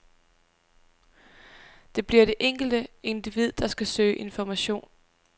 Det bliver det enkelte individ, der skal søge information.